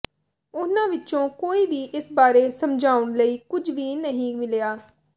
ਉਨ੍ਹਾਂ ਵਿਚੋਂ ਕੋਈ ਵੀ ਇਸ ਬਾਰੇ ਸਮਝਾਉਣ ਲਈ ਕੁਝ ਵੀ ਨਹੀਂ ਮਿਲਿਆ